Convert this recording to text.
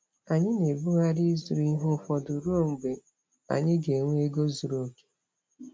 Anyị na-ebugharị ịzụrụ ihe ụfọdụ ruo mgbe anyị ga-enwe ego zuru oke.